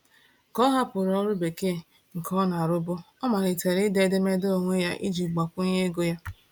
Ka ọ hapụrụ ọrụ bekee nke ọ na-arụbu, ọ malitere ide edemede onwe ya iji gbakwunye ego ya.